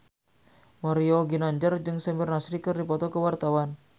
Mario Ginanjar jeung Samir Nasri keur dipoto ku wartawan